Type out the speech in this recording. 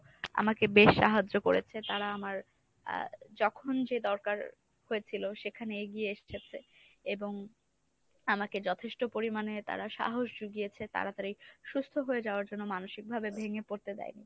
আমাকে বেশ সাহায্য করেছে। তারা আমার আহ যখন যে দরকার হয়েছিল সেখানে এগিয়ে এসেছে। এবং আমাকে যথেষ্ট পরিমাণে তারা সাহস যুগিয়েছে, তাড়াতাড়ি সুস্থ হয়ে যাওয়ার জন্য মানসিকভাবে ভেঙে পরতে দেয়নি